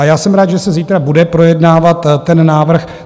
A já jsem rád, že se zítra bude projednávat ten návrh.